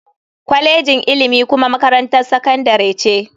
Kwalejin ilimi kuma makarantar sakandare ce.